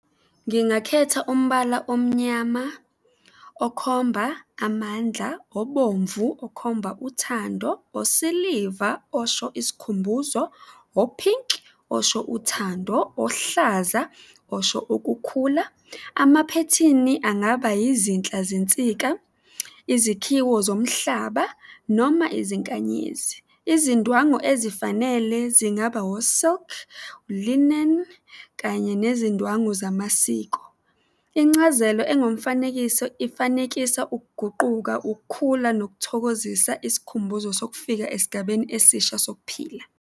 Ngingakhetha umbala omnyama okhomba amandla, obomvu okhomba uthando, osiliva osho isikhumbuzo, ophinki osho uthando, ohlaza osho ukukhula. Amaphethini angaba izinhla zentsika, izikhiwo zomhlaba noma izinkanyezi. Izindwangu ezifanele zingaba o-silk, ulineni kanye nezindwangu zamasiko. Incazelo engumfanekiso, isifanekisa ukuguquka, ukukhula, nokuthokozisa isikhumbuzo sokufika esigabeni esisha sokuphila.